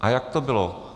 A jak to bylo?